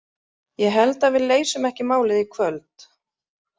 Ég held að við leysum ekki málið í kvöld.